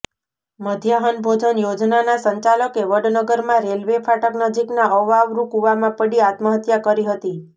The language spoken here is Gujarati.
મધ્યાહન ભોજન યોજનાના સંચાલકે વડનગરમાં રેલવે ફાટક નજીકના અવાવરુ કૂવામાં પડી આત્મહત્યા કરી હતી